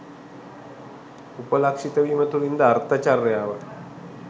උපලක්ෂිත වීම තුළින් ද අර්ථචර්යාව